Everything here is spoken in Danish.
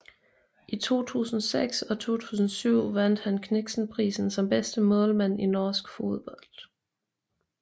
I 2006 og 2007 vandt han Kniksenprisen som bedste målmand i norsk fodbold